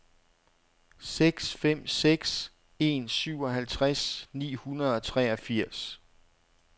seks fem seks en syvoghalvtreds ni hundrede og treogfirs